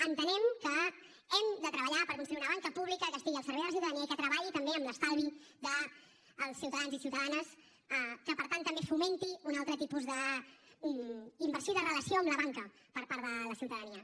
entenem que hem de treballar per construir una banca pública que estigui al servei de la ciutadania i que treballi també amb l’estalvi dels ciutadans i ciutadanes que per tant també fomenti un altre tipus d’inversió i de relació amb la banca per part de la ciutadania